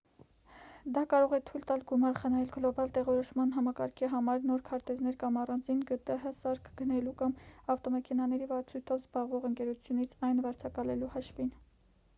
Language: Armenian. դա կարող է թույլ տալ գումար խնայել գլոբալ տեղորոշման համակարգի համար նոր քարտեզներ կամ առանձին գտհ սարք գնելու կամ ավտոմեքենաների վարձույթով զբաղվող ընկերությունից այն վարձակալելու հաշվին